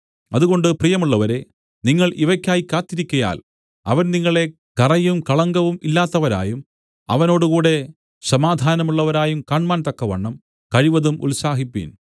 അതുകൊണ്ട് പ്രിയമുള്ളവരേ നിങ്ങൾ ഇവയ്ക്കായി കാത്തിരിക്കയാൽ അവൻ നിങ്ങളെ കറയും കളങ്കവും ഇല്ലാത്തവരായും അവനോടുകൂടെ സമാധാനമുള്ളവരായും കാണ്മാൻതക്കവണ്ണം കഴിവതും ഉത്സാഹിപ്പിൻ